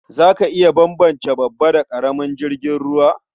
Za ka iya bambance babba da ƙaramin jirgin ruwa?